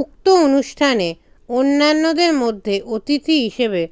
উক্ত অনুষ্ঠানে অন্যান্যদের মধ্যে অতিথি হিসেবে